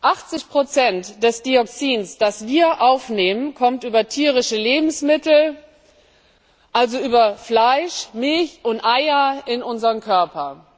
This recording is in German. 80 des Dioxins, das wir aufnehmen, kommt über tierische Lebensmittel also über Fleisch, Milch und Eier in unseren Körper.